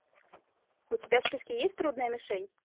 у тебя в списке есть трудная мишень